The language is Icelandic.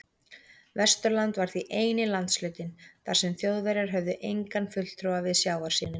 Vesturland var því eini landshlutinn, þar sem Þjóðverjar höfðu engan fulltrúa við sjávarsíðuna.